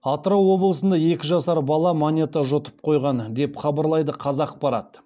атырау облысында екі жасар бала монета жұтып қойған деп хабарлайды қазақпарат